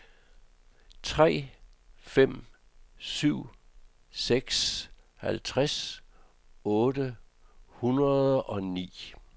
tre fem syv seks halvtreds otte hundrede og ni